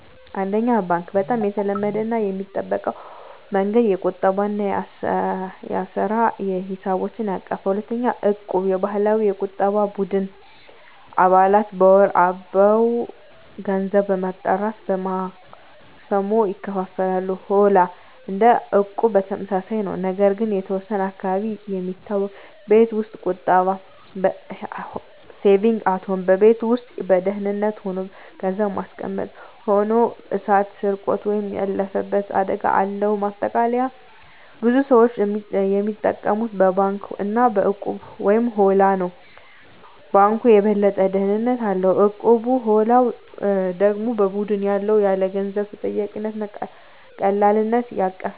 1. ባንክ (Bank) - በጣም የተለመደው እና የሚጠበቀው መንገድ። የቁጠባ እና የአሰራ ሂሳቦችን ያቀፈ። 2. እቁብ (Equb) - የባህላዊ የቁጠባ ቡድን። አባላት በወር አበው ገንዘብ በመጠራት በማክሰሞ ይካፈላሉ። 3. ሆላ (Holla) - እንደ እቁብ ተመሳሳይ ነው፣ ነገር ግን በተወሰነ አካባቢ የሚታወቅ። 4. ቤት ውስጥ ቁጠባ (Saving at Home) - በቤት ውስጥ በደህንነት ሆኖ ገንዘብ ማስቀመጥ። ሆኖ እሳት፣ ስርቆት ወይም ያለፈበት አደጋ አለው። ማጠቃለያ ብዙ ሰዎች የሚጠቀሙት በባንክ እና በእቁብ/ሆላ ነው። ባንኩ የበለጠ ደህንነት አለው፣ እቁቡ/ሆላው ደግሞ በቡድን ውስጥ ያለ የገንዘብ ተጠያቂነት እና ቀላልነት ያቀፈ ነው።